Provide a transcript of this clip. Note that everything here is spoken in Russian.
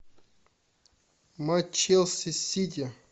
матч челси сити